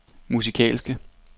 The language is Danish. musikalske